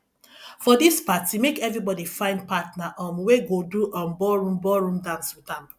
for dis party make everybodi find partner um wey go do um ballroom ballroom dance wit am